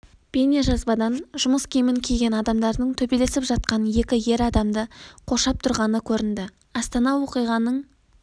бейнежазбадан жұмыс киімін киген адамдардың төбелесіп жатқан екі ер адамды қоршап тұрғаны көрінді астана оқиғаның